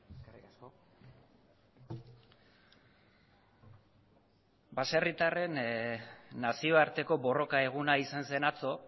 eskerrik asko baserritarren nazioarteko borroka eguna izan zen atzo